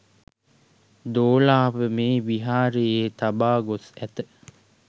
දෝලාව මේ විහාරයේ තබා ගොස් ඇත